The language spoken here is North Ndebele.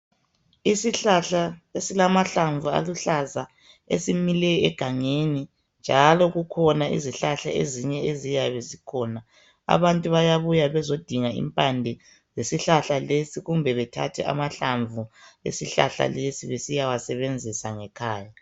Isihlahla esilamahlamvu aluhlaza esimile egangeni njalo kukhona izihlahla ezinye eziyabe zikhona abantu bayabuya bezodinga impande zesihlahla lesi kumbe bethathe amahlamvu esihlahla lesi besiya wasebenzisa ngekhaya.